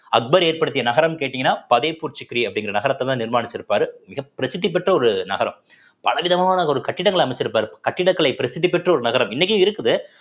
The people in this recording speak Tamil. அக்பர் ஏற்படுத்திய நகரம் கேட்டீங்கன்னா ஃபத்தேப்பூர் சிக்ரி அப்படிங்கற நகரத்ததான் நிர்மானிச்சுருப்பாரு மிகபிரசித்தி பெற்ற ஒரு நகரம் பல விதமானதொரு கட்டிடங்களை அமைச்சிருப்பாரு கட்டிடக்கலை பிரசித்தி பெற்ற ஒரு நகரம் இன்னைக்கும் இருக்குது